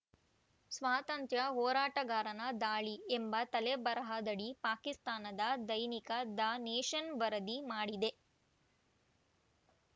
ಸ್ವಾತಂತ್ರ್ಯ ಹೋರಾಟಗಾರನ ದಾಳಿ ಎಂಬ ತಲೆಬರಹದಡಿ ಪಾಕಿಸ್ತಾನದ ದೈನಿಕ ದ ನೇಷನ್‌ ವರದಿ ಮಾಡಿದೆ